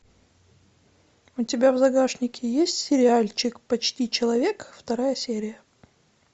у тебя в загашнике есть сериальчик почти человек вторая серия